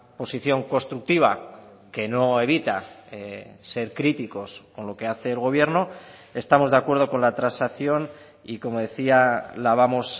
posición constructiva que no evita ser críticos con lo que hace el gobierno estamos de acuerdo con la transacción y como decía la vamos